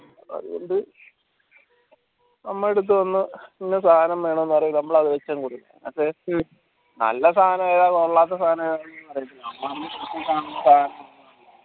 അത്കൊണ്ട് നമ്മൾട്ത്ത് വന്ന് ഇന്ന സാനം വേണോന് പറയും നമ്മൾ അത് വെച്ച് കൊടുക്കും നല്ല സാനം ഏതാ കൊള്ളാത്ത സാനേതാ